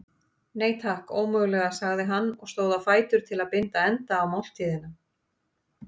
Nei, takk, ómögulega sagði hann og stóð á fætur til að binda enda á máltíðina.